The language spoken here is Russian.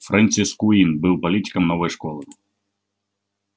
фрэнсис куинн был политиком новой школы